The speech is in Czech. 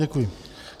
Děkuji.